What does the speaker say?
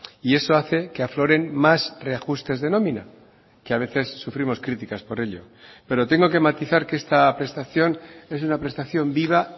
y eso hace que afloren más reajustes de nómina que a veces sufrimos críticas por ello pero tengo que matizar que esta prestación es una prestación viva